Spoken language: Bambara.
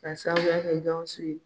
K'a sababuya kɛ gawusu ye